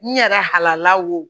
N yɛrɛ halala wo